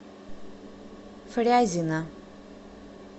фрязино